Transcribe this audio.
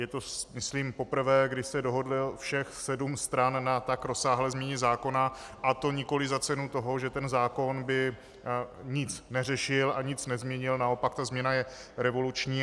Je to myslím poprvé, kdy se dohodlo všech sedm stran na tak rozsáhlé změně zákona, a to nikoliv za cenu toho, že ten zákon by nic neřešil a nic nezměnil, naopak ta změna je revoluční.